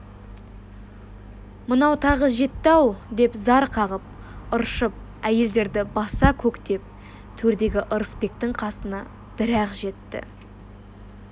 мынау тағы жетті-ау деп зар қағып ыршып әйелдерді баса-көктеп төрдегі ырысбектің қасына бір-ақ жетті